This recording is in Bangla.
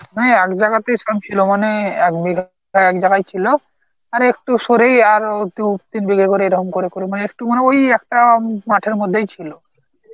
ওই এক জায়গাতেই সব ছিল মানে এক বিঘা এক জায়গায় ছিল আরেকটু সরেই আর আর অতি উক্তি, তিন বিঘা করে ধান করে করে মানে একটু মানে ওই একটা উম মাঠের মধ্যেই ছিল